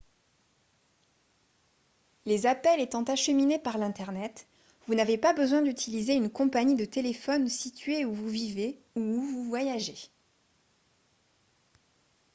les appels étant acheminés par l'internet vous n'avez pas besoin d'utiliser une compagnie de téléphone située où vous vivez ou où vous voyagez